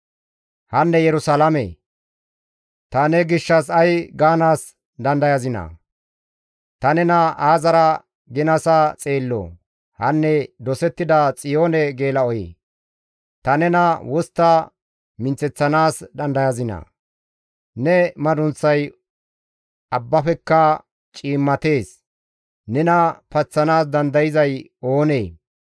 «Hanne Yerusalaame! Ta ne gishshas ay gaanaas dandayazinaa? Ta nena aazara ginasa xeelloo? Hanne dosettida Xiyoone geela7oyee! Ta nena wostta minththeththanaas dandayazinaa? ne madunththay abbafeka cimmatees; nena paththanaas dandayzay oonee?